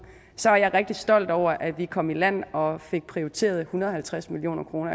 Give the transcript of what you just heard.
så er jeg rigtig stolt over at vi kom i land og fik prioriteret en hundrede og halvtreds million kroner